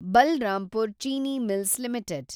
Balrampur Chini mills limited